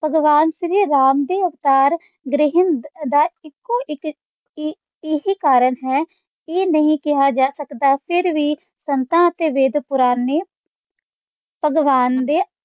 ਭਗਵਾਨ ਸ਼੍ਰੀ ਰਾਮ ਦੇ ਅਵਤਾਰ ਧਰਿਹਿੰਦ ਦਾ ਇੱਕੋ - ਇੱਕ ਇਹ ਕਾਰਨ ਹੈ, ਇਹ ਨਹੀਂ ਕਿਹਾ ਜਾ ਸਕਦਾ ਫੇਰ ਵੀ ਸੰਤਾਂ ਅਤੇ ਵੇਦਪੁਰਾਨ ਨੇ ਭਗਵਾਨ ਦੇ